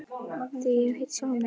Því hef ég heitið sjálfum mér.